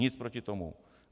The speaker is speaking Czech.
Nic proti tomu.